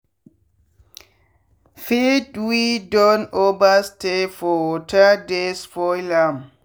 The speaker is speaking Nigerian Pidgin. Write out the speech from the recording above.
feed wey don over stay for waterdey spoil am.